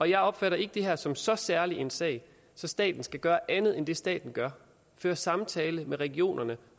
jeg opfatter ikke det her som så særlig en sag så staten skal gøre andet end det staten gør føre samtale med regionerne